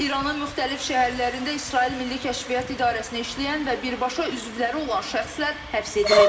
İranın müxtəlif şəhərlərində İsrail Milli Kəşfiyyat İdarəsinə işləyən və birbaşa üzvləri olan şəxslər həbs edilib.